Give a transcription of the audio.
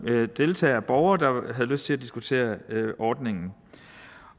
deltagere borgere der havde lyst til at diskutere ordningen